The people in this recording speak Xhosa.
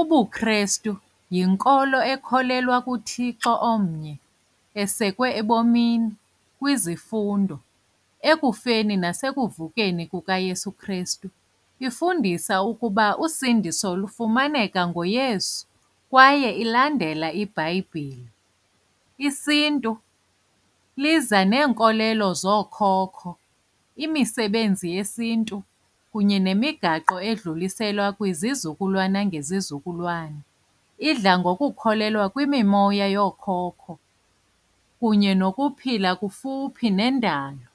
UbuKhrestu yinkolo ekholelwa kuThixo omnye, esekwe ebomini kwizifundo ekufeni nasekuvukeni kukaYesu uKhrestu. Ifundisa ukuba usindiso lufumaneka ngoYesu kwaye ilandela iBhayibhile. IsiNtu liza neenkolelo zookhokho, imisebenzi yesiNtu kunye nemigaqo edluliselwa kwizizukulwana ngezizukulwana. Idla ngokukhulelwa kwimimoya yookhokho kunye nokuphila kufuphi nendalo.